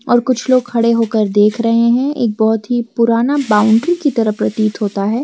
और कुछ लोग खड़े होकर देख रहे है एक बहुत ही पुराना बाउंड्री की तरह प्रतीत होता है।